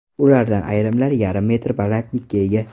Ulardan ayrimlari yarim metr balandlikka ega.